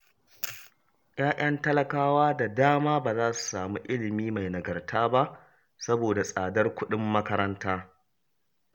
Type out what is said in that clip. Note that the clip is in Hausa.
Ya'yan talakawa da dama ba za su samu ilimi mai nagarta ba saboda tsadar kuɗin makaranta